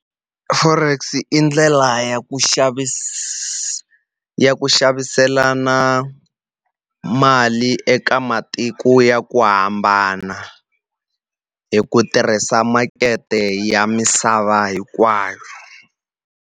Forex i ndlela ya ku ya ku xaviselana mali eka matiko ya ku hambana, hi ku tirhisa makete ya misava hinkwayo.